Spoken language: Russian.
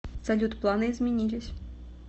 салют планы изменились